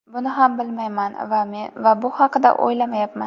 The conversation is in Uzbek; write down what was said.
Buni ham bilmayman va bu haqda o‘ylamayapman.